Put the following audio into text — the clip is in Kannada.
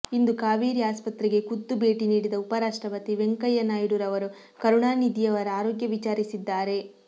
ಇಂದು ಕಾವೇರಿ ಆಸ್ಪತ್ರೆಗೆ ಖುದ್ದು ಭೇಟಿ ನೀಡಿದ ಉಪರಾಷ್ಟ್ರಪತಿ ವೆಂಕಯ್ಯ ನಾಯ್ಡು ರವರು ಕರುಣಾನಿಧಿಯವರ ಆರೋಗ್ಯ ವಿಚಾರಿಸಿದ್ದಾರೆ